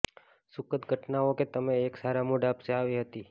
સુખદ ઘટનાઓ કે તમે એક સારા મૂડ આપશે આવી હતી